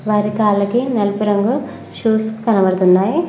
అరికాళ్ళకి నలుపు రంగు షూస్ కనబడుతున్నాయి.